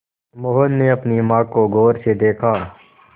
मोहन ने अपनी माँ को गौर से देखा